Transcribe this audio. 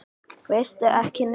Veistu ekki neitt?